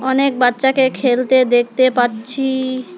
অনেক বাচ্চাকে খেলতে দেখতে পাচ্ছি।